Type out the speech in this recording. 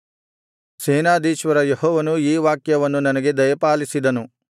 ಸೇನಾಧೀಶ್ವರ ಯೆಹೋವನು ಈ ವಾಕ್ಯವನ್ನು ನನಗೆ ದಯಪಾಲಿಸಿದನು